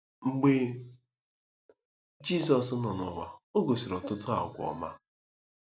Mgbe Jizọs nọ n'ụwa, o gosiri ọtụtụ àgwà ọma.